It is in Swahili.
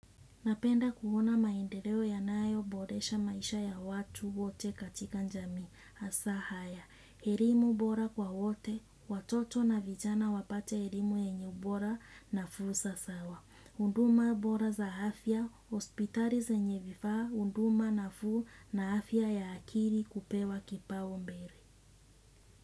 Napenda kuona maendeleo yanayo boresha maisha ya watu wote katika jamii. Hasa haya, elimu bora kwa wote. Watoto na vijana wapate elimu yenye ubora na fursa sawa. Huduma bora za afya. Hospitali zenye vifaa. Huduma nafuu na afya ya akili kupewa kipau mbele.